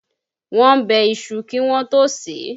Wọ́n bẹ iṣu kí wọn tó ó sè é